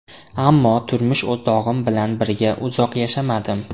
Ammo turmush o‘rtog‘im bilan birga uzoq yashamadim.